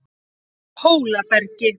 Hólabergi